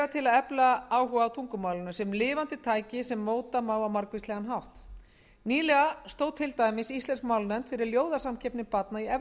til að efla áhuga á tungumálinu sem lifandi tæki sem móta má á margvíslegan hátt nýlega stóð íslensk málnefnd fyrir ljóðasamkeppni barna í efri